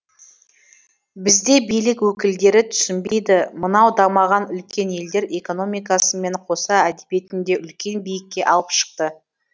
бізде билік өкілдері түсінбейді мынау дамыған үлкен елдер экономикасымен қоса әдебиетін де үлкен биікке алып шықты